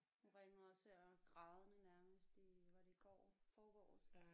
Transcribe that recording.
Hun ringede også her grædende nærmest i var det i går forgårs